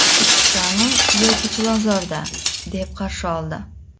Chirchiqdami yoki Chilonzorda?”, deb qarshi oldi.